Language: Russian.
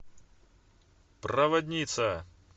проводница